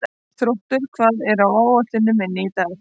Þróttur, hvað er á áætluninni minni í dag?